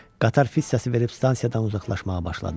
Qatar fit səsi verib stansiyadan uzaqlaşmağa başladı.